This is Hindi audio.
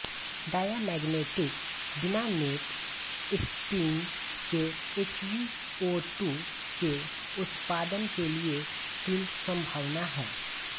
डायामैग्नेटिक बिना नेट स्पिन के एचबीओटू के उत्पादन के लिये तीन संभावनाएं हैं